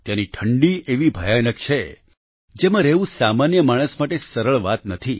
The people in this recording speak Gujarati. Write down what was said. ત્યાંની ઠંડી એવી ભયાનક છે જેમાં રહેવું સામાન્ય માણસ માટે સરળ વાત નથી